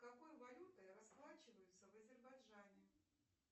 какой валютой расплачиваются в азербайджане